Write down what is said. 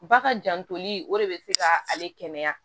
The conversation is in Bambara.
Ba ka jantoli o de bɛ se ka ale kɛnɛya